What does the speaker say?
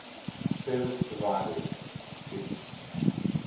service providers isps